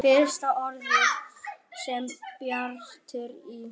Fyrsta orðið sem Bjartur í